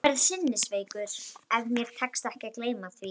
Ég verð sinnisveikur, ef mér tekst ekki að gleyma því.